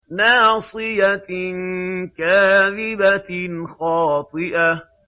نَاصِيَةٍ كَاذِبَةٍ خَاطِئَةٍ